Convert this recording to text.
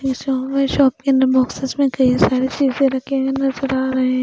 Shop के अंदर boxes में कई सारी चीजें रखी नज़र आ रही है.